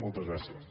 moltes gràcies